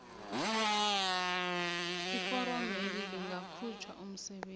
iforomeli lingakhutjhwa umsebenzi